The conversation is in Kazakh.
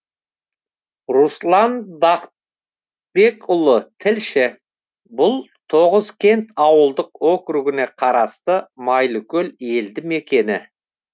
руслан бақытбекұлы тілші бұл тоғызкент ауылдық округіне қарасты майлыкөл елді мекені